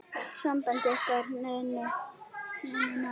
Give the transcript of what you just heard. Samband ykkar Ninnu náið.